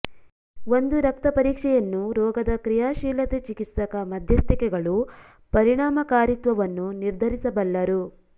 ಒಂದು ರಕ್ತ ಪರೀಕ್ಷೆಯನ್ನು ರೋಗದ ಕ್ರಿಯಾಶೀಲತೆ ಚಿಕಿತ್ಸಕ ಮಧ್ಯಸ್ಥಿಕೆಗಳು ಪರಿಣಾಮಕಾರಿತ್ವವನ್ನು ನಿರ್ಧರಿಸಬಲ್ಲರು